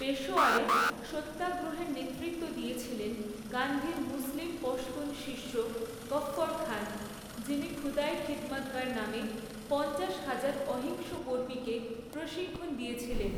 পেশোয়ারে, সত্যাগ্রহের নেতৃত্ব দিয়েছিলেন গান্ধীর মুসলিম পশতুন শিষ্য গফ্ফর খান, যিনি খুদাই খিদমৎগর নামে, পঞ্চাশ হাজার অহিংস কর্মীকে প্রশিক্ষণ দিয়েছিলেন।